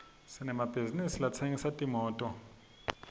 sinemabhizisi latsengisa timoto